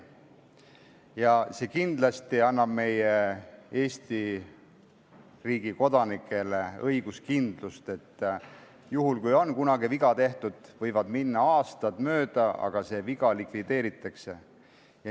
See annab kindlasti Eesti Vabariigi kodanikele õiguskindlust, et juhul kui on kunagi viga tehtud, siis võivad minna aastad mööda, aga see viga likvideeritakse.